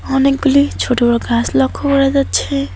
অনেকগুলি ছোট বড় গাছ লক্ষ্য করা যাচ্ছে।